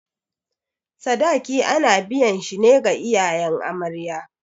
Sadaki ana biyan shi ne ga iyayen amarya.